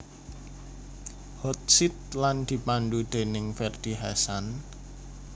Hot Seat lan dipandhu déning Ferdy Hassan